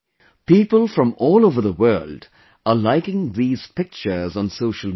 People from all over the world are liking these pictures on social media